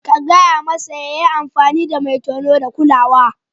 Ka gaya masa ya yi amfani da mai tono da kulawa.